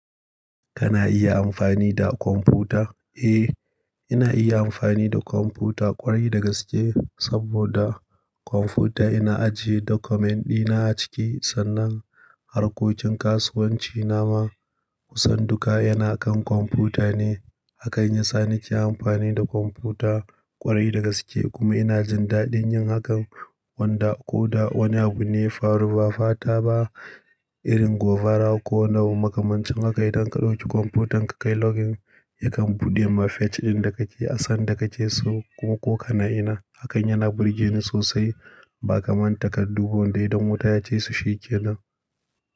Kana iya amfani da kwamfuta? Eh, ina iya amfani da kwamfuta ƙwarai da gaske saboda kwamfuta ina ajiye document dina a ciki sannan harkokin kasuwanci na ma kusan duka yana kan kwamfuta ne. Hakain ya sa nike amfani da kwamfuta ƙwarai da gaske kuma ina jin daɗin yin hakan wanda ko da wani abu ne ya faru ba fata ba irin govara ko wani makamancin haka yi, idan ka ɗauki kwamfutan ka kai login yakan buɗe ma page ɗin da kake a san da kake so ko kana ina. Hakan yana burge ni sosai ba kamar takardu wanda idan wuta ya cese shi kenan.